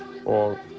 og